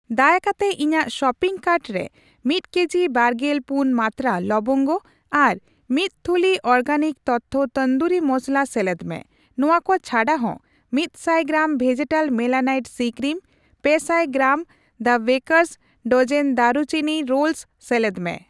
ᱫᱟᱭᱟ ᱠᱟᱛᱮ ᱤᱧᱟᱜ ᱥᱚᱯᱤᱝ ᱠᱟᱨᱴ ᱨᱮ ᱢᱤᱛ ᱠᱮᱡᱤ ᱵᱟᱨᱜᱮᱞ ᱯᱩᱱ ᱢᱟᱱᱛᱨᱟ ᱞᱚᱵᱚᱝᱜᱚ ᱟᱨ ᱢᱤᱛ ᱛᱷᱩᱞᱤ ᱚᱨᱜᱮᱱᱤᱠ ᱛᱚᱛᱛᱷᱚ ᱛᱩᱱᱫᱩᱨᱤ ᱢᱚᱥᱞᱟ ᱥᱮᱞᱮᱫ ᱢᱮ ᱾ ᱱᱚᱣᱟ ᱠᱚ ᱪᱷᱟᱰᱟ ᱦᱚ, ᱢᱤᱛᱥᱟᱭ ᱜᱨᱟᱢ, ᱜᱨᱟᱢ ᱵᱷᱮᱡᱮᱴᱟᱞ ᱢᱮᱞᱟᱱᱟᱭᱤᱴ ᱥᱤᱼᱠᱨᱤᱢ, ᱯᱮᱥᱟᱭ gram, gram the baker's dozen ᱫᱟᱨᱩᱪᱤᱱᱤ ᱨᱳᱞᱥ ᱥᱮᱞᱮᱫ ᱢᱮ ᱾